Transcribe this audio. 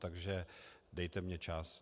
Takže dejte mi čas.